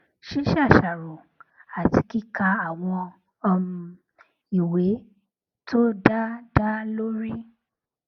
ṣíṣàṣàrò àti kíka àwọn um ìwé tó dá dá lórí